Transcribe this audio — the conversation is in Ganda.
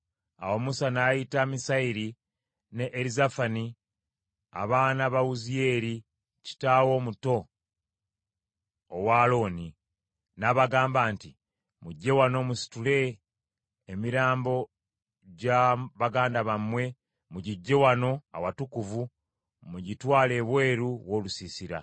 Awo Musa n’ayita Misayeri ne Erizafani, abaana ba Wuziyeeri kitaawe omuto owa Alooni, n’abagamba nti, “Mujje wano musitule emirambo gya baganda bammwe mugiggye wano awatukuvu mugitwale ebweru w’olusiisira.”